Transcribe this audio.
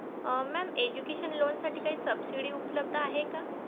Mam Education loan साठी काही subsidy उपलब्ध आहे का?